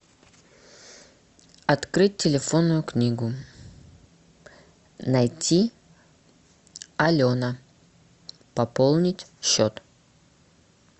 открыть телефонную книгу найти алена пополнить счет